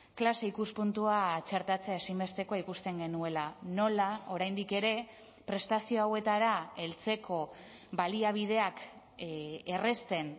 klase ikuspuntua txertatzea ezinbestekoa ikusten genuela nola oraindik ere prestazio hauetara heltzeko baliabideak errazten